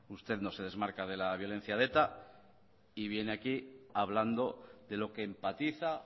usted no se desmarca de la violencia de eta y viene aquí hablando de lo que empatiza